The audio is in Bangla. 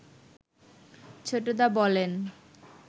ছোটদা বলেন